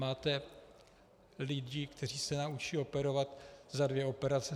Máte lidi, kteří se naučí operovat za dvě operace.